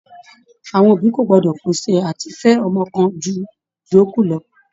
Àwọn òbí kò gbọ́dọ̀ pèsè àti fẹ ọmọ kan ju àwọn ìyókù lọ.